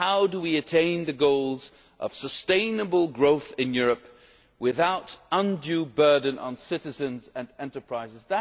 issue. How do we attain the goals of sustainable growth in Europe without an undue burden on citizens and enterprises?